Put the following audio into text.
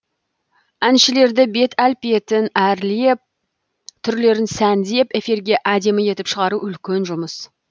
әншілерді бет әлпетін әрлеп түрлерін сәндеп эфирге әдемі етіп шығару үлкен жұмыс